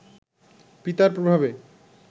পিতার প্রভাবে